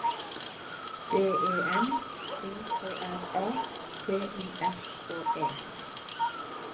D E M O K R A T I S K E